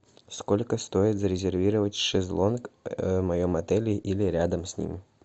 сколько стоит зарезервировать шезлонг в моем отеле или рядом с ним